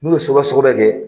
N'u ye sɔgɔbɛ sɔgɔbɛ kɛ